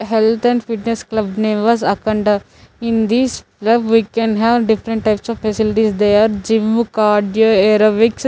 health and fitness club name was acanda in this club we can have different types of facilities they are gym cardio aerobics --